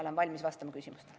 Olen valmis vastama küsimustele.